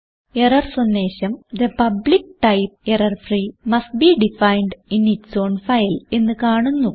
error സന്ദേശം the public type error free must be defined in its own file എന്ന് കാണുന്നു